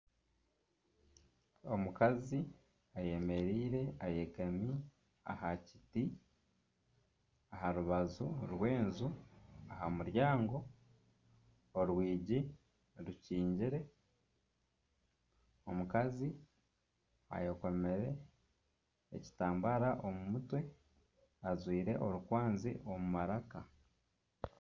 Omukazi ayemereire ayegami aha kiti aharubaju rw'enju aha muryango orwingi rukyingire omukazi ayekomire ekitambara omu mutwe ajwaire orukwazi omu maraka.